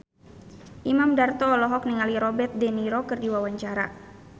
Imam Darto olohok ningali Robert de Niro keur diwawancara